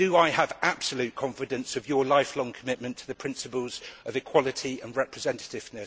Do I have absolute confidence of your lifelong commitment to the principles of equality and representatives?